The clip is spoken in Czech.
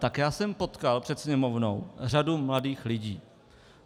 Tak já jsem potkal před Sněmovnou řadu mladých lidí.